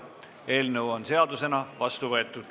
Eelnõu on seadusena vastu võetud.